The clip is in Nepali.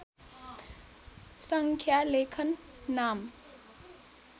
सङ्ख्या लेखन नाम